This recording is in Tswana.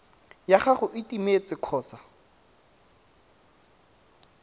ya gago e timetse kgotsa